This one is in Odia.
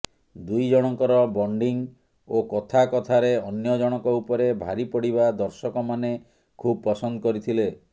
ଦୁଇଜଣଙ୍କର ବଣ୍ଡିଙ୍ଗ୍ ଓ କଥା କଥାରେ ଅନ୍ୟ ଜଣକ ଉପରେ ଭାରି ପଡ଼ିବା ଦର୍ଶକମାନେ ଖୁବ୍ ପସନ୍ଦ କରିଥିଲେ